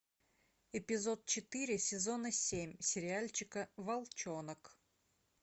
эпизод четыре сезона семь сериальчика волчонок